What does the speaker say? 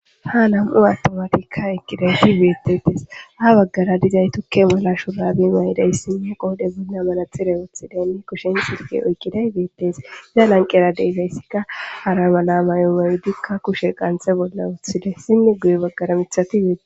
ha nam7u attumatikka eqqidayti beettetes ha baggara dizay tukke mala shuraabi maydays sinne qoode bunna malatxire wothidenne kushen sirge oykqiday beettes iza lanqera deyfayssikka hara mala may7o maydikka kushe qanxhe bolla wuththide sinne guye baggara mithati beetes